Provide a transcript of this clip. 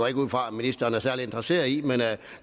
ikke ud fra at ministeren er særlig interesseret i men